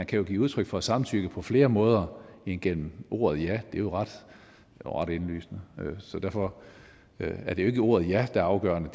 kan give udtryk for samtykke på flere måder end gennem ordet ja det er ret indlysende så derfor er det ikke ordet ja der er afgørende